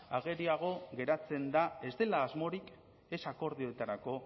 ageriago geratzen da ez dela asmorik ez akordioetarako